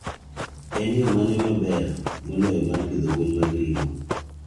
En yo mane maber moloyo mar pidho gwen mag ringo?